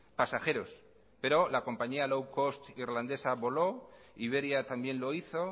pasajeros pero la compañía low cost irlandesa voló iberia también lo hizo